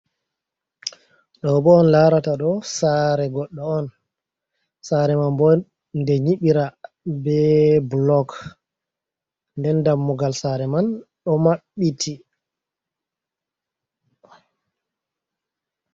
Ɗoobo on laarata ɗo, saare goɗɗo on, saare man bo nde nyiɓira be bulok nden dammugal saare man ɗo maɓɓiti.